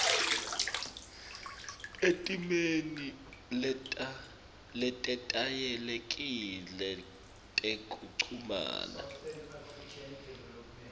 etimeni letetayelekile tekuchumana